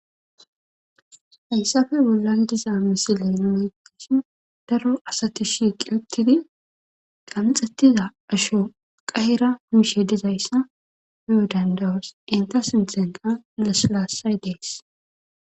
Hayissape bollani diza mossile nunni beyishini darro assati shiqi utidi qanixxetidda asho qaherra mishe dizayissa be'o daniddayosi ,etta sinithanikka lasilassayi dessi.